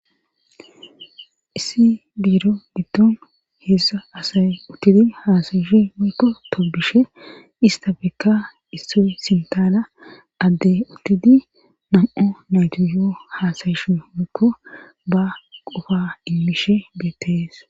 Issi biiro didton heessa asay uttidi haasayishe moykko tobishe ista bekka isso sintaala adde uttidi nam7o naytu yoo haasayishu moykko ba qofa immishe beettees